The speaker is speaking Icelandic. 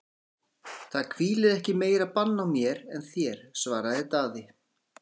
Það hvílir ekki meira bann á mér en þér, svaraði Daði.